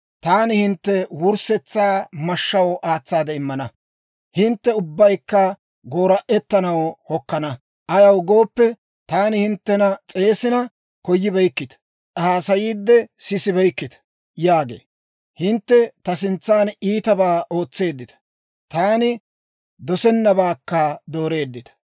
taani hintte wurssetsaa mashshaw aatsaade immana; hintte ubbaykka goora'ettanaw hokkana. Ayaw gooppe, taani hinttena s'eesina koyibeykkita; haasayiide sisibeykkita» yaagee. Hintte ta sintsan iitabaa ootseeddita; taani dosennabaakka dooreeddita.